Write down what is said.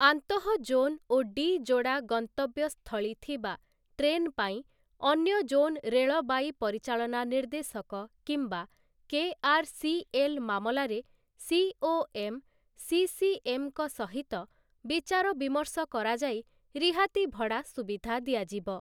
ଆନ୍ତଃଜୋନ୍ O D ଯୋଡ଼ା ଗସ୍ତବ୍ୟ ସ୍ଥଳୀ ଥିବା ଟ୍ରେନ ପାଇଁ ଅନ୍ୟ ଜୋନ୍ ରେଳବାଇ ପରିଚାଳନା ନିର୍ଦ୍ଦେଶକ କିମ୍ବା କେଆର୍‌ସିଏଲ୍ ମାମଲାରେ ସିଓଏମ୍, ସିସିଏମ୍‌ଙ୍କ ସହିତ ବିଚାରବିମର୍ଶ କରାଯାଇ ରିହାତି ଭଡ଼ା ସୁବିଧା ଦିଆଯିବ ।